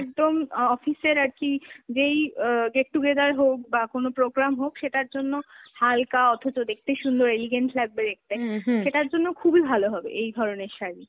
একদম অ~ office এর আর কী যেই অ্যাঁ get-together হোক বা কোনো program হোক সেটার জন্য হালকা অথছ দেখতে সুন্দর, elegant লাগবে দেখতে, হুম, হুম সেটার জন্য খুবি ভালো হবে এই ধরনের শাড়ি।